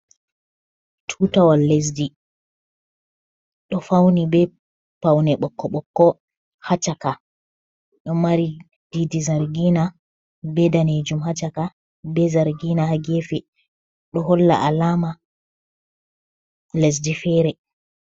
Tuutawal lesdi, ɗo fawni bee pawne ɓokko-ɓokko haa caka, ɗo mari diidi zargiina bee daneejum haa caka bee zargiina haa geefe ɗo holla alaama lesdi feere.